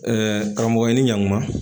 karamɔgɔ i ni ɲan kuma